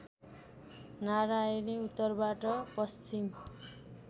नरायणी उत्तरबाट पश्चिम